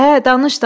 Hə, danış, danış.